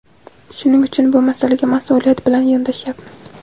Shuning uchun bu masalaga masʼuliyat bilan yondashyapmiz.